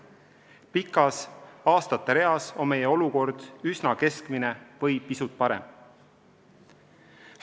Pikas aastate reas on meie olukord üsna keskmine või pisut parem.